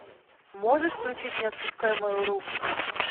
можешь включить не отпускай мою руку